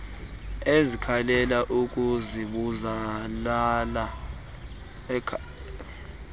ezikhalela ukuzibulala kwakuzalwa